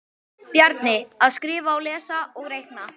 Bjarni: Að skrifa og lesa og reikna